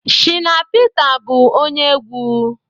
Shina Pita bụ ónyé egwu